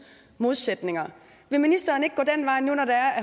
modsætninger vil ministeren ikke gå den vej når